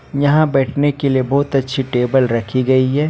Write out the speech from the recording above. यहां बैठने के लिए बहुत अच्छी टेबल रखी गई है।